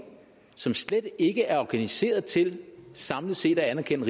som slet ikke er organiseret til samlet set at anerkende